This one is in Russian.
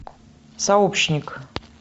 сообщник